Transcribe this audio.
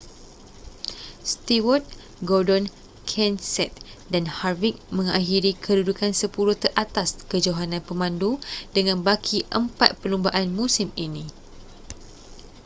stewart gordon kenseth dan harvick mengakhiri kedudukan sepuluh teratas kejohanan pemandu dengan baki empat perlumbaan musim ini